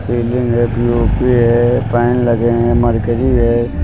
Ceiling है POP है fan लगे हैं मर्करी है।